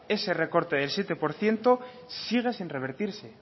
ese recorte de siete por ciento sigue sin revertirse